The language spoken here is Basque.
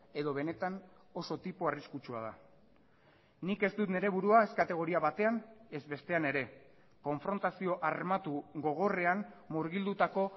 edo benetan oso tipo arriskutsua da nik ez dut nire burua ez kategoria batean ez bestean ere konfrontazio armatu gogorrean murgildutako